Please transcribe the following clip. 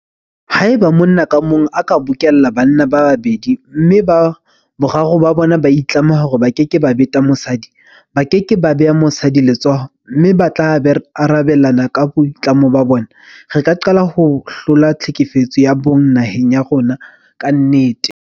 Haeba monna ka mong a ka bokella banna ba babedi mme boraro ba bona ba itlama hore ba keke ba beta mosadi, ba ke ke ba beha mosadi letsoho mme ba tla arabelana ka boitlamo bona, re ka qala ho hlola tlhekefetso ya bong naheng ya rona ka nnete.